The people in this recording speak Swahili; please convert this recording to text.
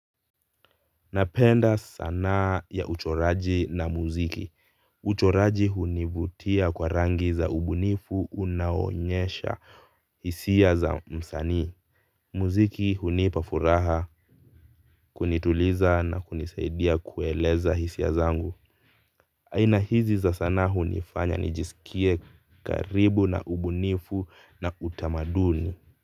Napenda sanaa ya uchoraji na muziki. Uchoraji hunivutia kwa rangi za ubunifu unaonyesha hisia za msanii. Muziki hunipa furaha kunituliza na kunisaidia kueleza hisia zangu. Aina hizi za sanaa hunifanya nijisikie karibu na ubunifu na utamaduni